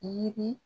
Yirini